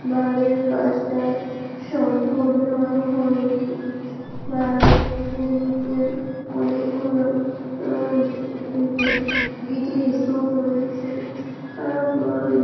বাড়ির কাজটা সম্পূৰ্ণ হয়নি বাড়ির নিচে অনেক গুলো উম ই গিটির স্তুপ রয়েছে আরো--